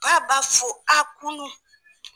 Ba b'a fɔ a kunu